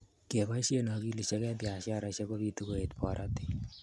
keboishe akilit eng biasharesheck ko bitu koet pororiet